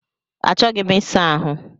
Achọghị m isa ahụ